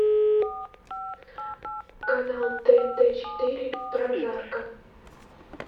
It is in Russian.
канал тнт четыре прожарка